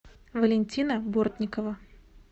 валентина бортникова